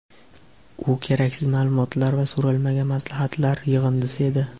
U keraksiz maʼlumotlar va so‘ralmagan maslahatlar yig‘indisi edi.